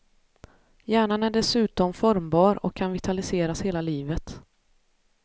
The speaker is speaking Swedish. Hjärnan är dessutom formbar och kan vitaliseras hela livet.